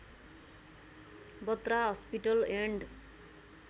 Batra hospital and